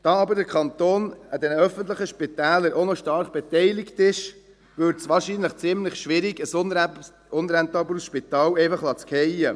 Weil aber der Kanton an den öffentlichen Spitälern auch noch stark beteiligt ist, würde es wahrscheinlich ziemlich schwierig, ein unrentables Spital einfach fallen zu lassen.